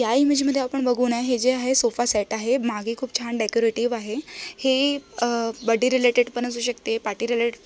'' या इमेज मध्ये आपण बघुण आहे जे आहे सोफासेट आहे माघे खूप छान डेकोरेटिव आहे हे अ बड्डे रिलेटेड पण असू शकते. Party relate --''